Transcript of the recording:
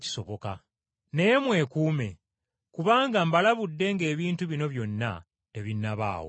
Naye mwekuume! Kubanga mbalabudde ng’ebintu bino byonna tebinnabaawo.